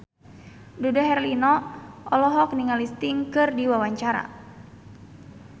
Dude Herlino olohok ningali Sting keur diwawancara